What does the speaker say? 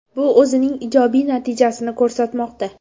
Bu o‘zining ijobiy natijasini ko‘rsatmoqda.